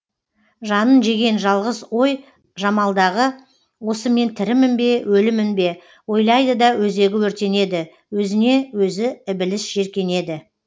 жанын жеген жалғыз ой жамалдағы осы мен тірімін бе өлімін бе ойлайды да өзегі өртенеді өзіне өзі ібіліс жеркенеді